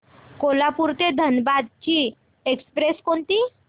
कोल्हापूर ते धनबाद ची एक्स्प्रेस कोणती